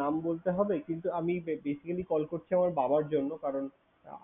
নাম বলতে হবে? কিন্তু আমি ba~ basically call করছি আমার বাবার জন্য। কারণ